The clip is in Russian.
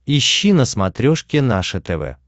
ищи на смотрешке наше тв